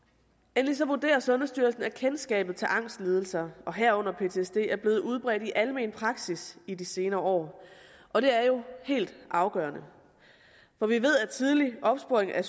endelig vurderer sundhedsstyrelsen at kendskabet til angstlidelser herunder ptsd er blevet udbredt i almenpraksis i de senere år og det er jo helt afgørende for vi ved at tidlig opsporing af